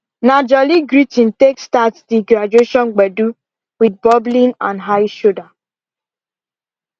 na jolly greeting take start di graduation gbedu with bubbling and high shoulder